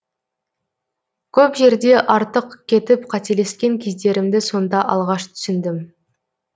көп жерде артық кетіп қателескен кездерімді сонда алғаш түсіндім